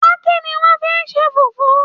Páákí ni wọ́n fi ṣe Fùfú